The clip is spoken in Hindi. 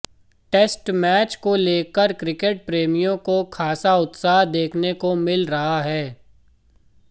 टेस्ट मैच को लेकर क्रिकेट प्रेमियों को खासा उत्साह देखने को मिल रहा है